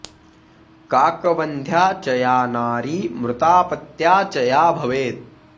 काकवन्ध्या च या नारी मृतापत्या च या भवेत्